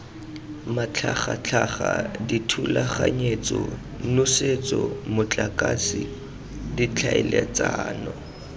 matlhagatlhaga dithulaganyetso nosetso motlakase ditlhaeletsano